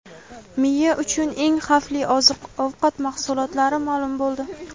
Miya uchun eng xavfli oziq-ovqat mahsulotlari ma’lum bo‘ldi.